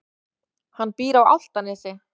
Hann býr á Álftanesi.